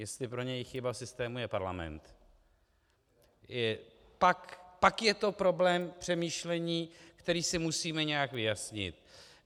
Jestli pro něj chyba systému je parlament, pak je to problém k přemýšlení, který si musíme nějak vyjasnit.